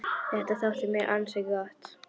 Þetta þótti mér ansi gott.